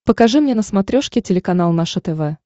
покажи мне на смотрешке телеканал наше тв